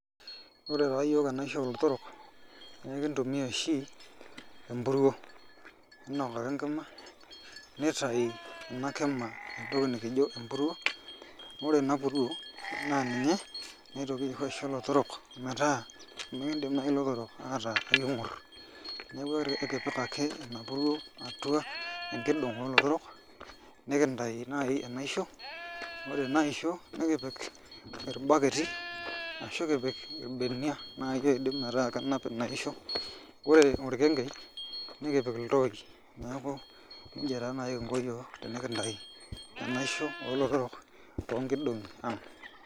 Ore taa iyiook enaisho oolotorrok naa ikintumia oshi empuruo iinok ake enkima nitayu ina kima entoki nikijo empuruo ore ina puruo naa ninye naitoki aisho ilotorrok metaa mikiindim naai ilotorrok aatarr niking'orr, neeku ore kakipik ake ina puruo atua enkidong' oolotorok nikintayu naai enaisho ore ina aisho nikipik irbaketi ashu kipik irbenia naai oidim metaa kenap ina aisho ore orkengei nikipik iltoooi neeku nijuia taa naai kingo iyiook teninkintau enaisho olootorrok toonkidong'i aang'.